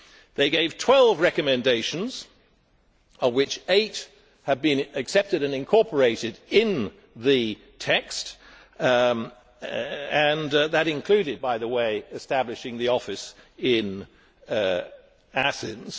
They gave twelve recommendations, of which eight have been accepted and incorporated in the text, and that included, by the way, establishing the office in Athens.